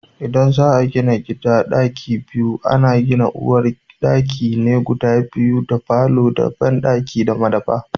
idan za a gina gida ɗaki biyu, ana gina uwar ɗaki ne guda biyu da falo da banɗaki da madafa.